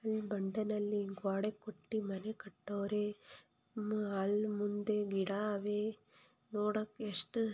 ಈ ಬಂಡೇಳಲ್ಲಿ ಗೋಡೆ ಕುಟ್ಟಿ ಮನೆ ಕಟ್ಟೊರೆ ಅಲ್ ಮುಂದೆ ಗಿಡ ಅವೇ ನೋಡಾಕೆಷ್ಟು --